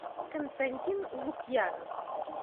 константин лукьянов